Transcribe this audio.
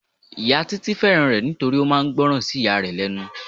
Ìyá Títí fẹ́ràn rẹ nítorí ó máa ń gboran sí ìyá rẹ lẹ́nu.